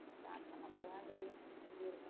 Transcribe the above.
start பண்ண பிறகுதான் தெரியும் எப்படி இருக்குன்னு